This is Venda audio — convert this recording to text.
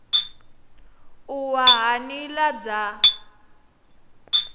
u wa ha nila dza